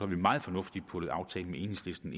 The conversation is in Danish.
vi meget fornuftigt puttet aftalen med enhedslisten